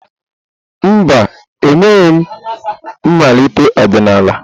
Mba, emeghị m mmalite ọdịnala.